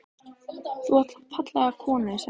Þú átt fallega konu sagði hann.